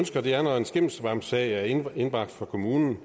sker når en skimmelsvampsag er indbragt for kommunen